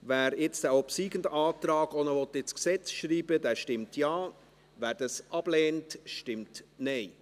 Wer nun den obsiegenden Antrag auch ins Gesetz schreiben will, stimmt Ja, wer dies ablehnt, stimmt Nein.